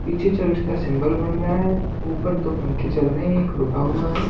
पीछे चर्च का सिंबल बन रहा है ऊपर दो पंखे चल रहे हैं एक रुका हुआ है।